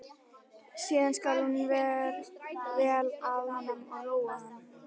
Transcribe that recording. Síðan skal hlúa vel að honum og róa hann.